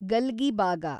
ಗಲ್ಗಿಬಾಗ